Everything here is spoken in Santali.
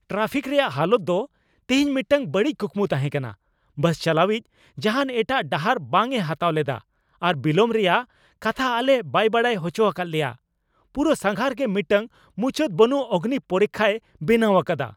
ᱴᱨᱟᱯᱷᱤᱠ ᱨᱮᱭᱟᱜ ᱦᱟᱞᱚᱛ ᱫᱚ ᱛᱤᱦᱤᱧ ᱢᱤᱫᱴᱟᱝ ᱵᱟᱹᱲᱤᱡ ᱠᱩᱠᱢᱩ ᱛᱟᱦᱮᱸ ᱠᱟᱱᱟ ᱾ ᱵᱟᱥ ᱪᱟᱞᱟᱣᱤᱡ ᱡᱟᱦᱟᱱ ᱮᱴᱟᱜ ᱰᱟᱦᱟᱨ ᱵᱟᱝ ᱮ ᱦᱟᱛᱟᱣ ᱞᱮᱫᱟ ᱟᱨ ᱵᱤᱞᱚᱢ ᱨᱮᱭᱟᱜ ᱠᱟᱛᱷᱟ ᱟᱞᱮ ᱵᱟᱭ ᱵᱟᱰᱟᱭ ᱦᱚᱪᱚ ᱟᱠᱟᱫ ᱞᱮᱭᱟ, ᱯᱩᱨᱟᱹ ᱥᱟᱸᱜᱷᱟᱨ ᱜᱮ ᱢᱤᱫᱴᱟᱝ ᱢᱩᱪᱟᱹᱫ ᱵᱟᱹᱱᱩᱜ ᱚᱜᱽᱱᱤ ᱯᱚᱨᱤᱠᱠᱷᱟᱭ ᱵᱮᱱᱟᱣ ᱟᱠᱟᱫᱟ ᱾